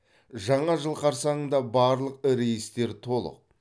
жаңа жыл қарсаңында барлық рейстер толық